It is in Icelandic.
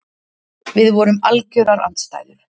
Við vorum algjörar andstæður.